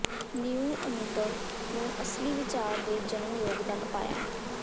ਨ੍ਯੂ ਅਨੁਭਵ ਨੂੰ ਅਸਲੀ ਵਿਚਾਰ ਦੇ ਜਨਮ ਯੋਗਦਾਨ ਪਾਇਆ